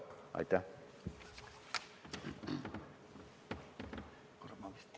Aitäh!